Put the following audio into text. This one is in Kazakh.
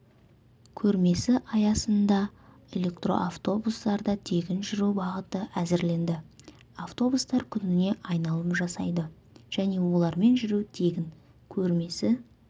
көрмесі аясында электроавтобустарда тегін жүру бағыты әзірленді автобустар күніне айналым жасайды және олармен жүру тегін көрмесі